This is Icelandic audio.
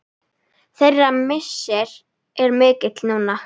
Þeirra missir er mikill núna.